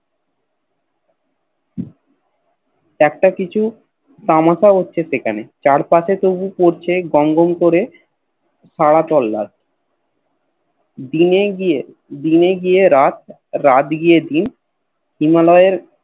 একটা কিছু তামাশা হচ্ছে সেখানে চারপাশে তবু পড়ছে গমগম করে সারা সোল্লাদ দিনে গিয়ে দিনে গিয়ে রাত রাত গিয়ে দিন হিমালয়ের